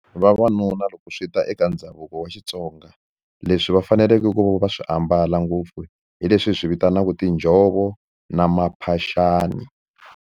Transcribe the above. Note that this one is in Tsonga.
Vavanuna loko swi ta eka ndhavuko wa Xitsonga leswi va faneleke ku va swi ambala ngopfu hi leswi hi swi vitanaku tinjhovo na maphaxani.